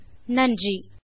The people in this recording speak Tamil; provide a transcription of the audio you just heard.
கலந்து கொண்டமைக்கு நன்றி